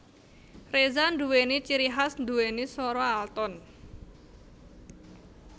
Reza nduwéni ciri khas nduwéni swara alton